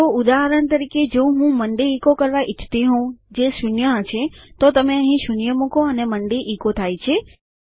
તો ઉદાહરણ તરીકે જો હું મોન્ડે ઇકો કરવા ઇચ્છતી હોઉં જે શૂન્ય હશે તો તમે અહીં શૂન્ય મૂકો અને મોન્ડે ઇકો થાય છે